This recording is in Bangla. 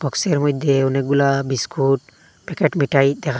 বক্স -এর মইধ্যে অনেকগুলা বিস্কুট প্যাকেট মিঠাই দেখা--